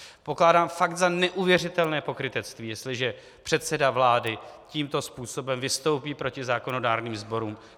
Pokládám fakt za neuvěřitelné pokrytectví, jestliže předseda vlády tímto způsobem vystoupí proti zákonodárným sborům.